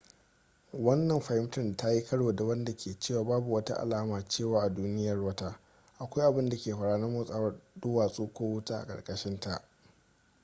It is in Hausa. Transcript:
wannan fahimtar ta yi karo da wadda ke cewa babu wata alama cewa a duniyar wata akwai abinda ke faruwa na motsawar duwatsu ko wuta a karkashinta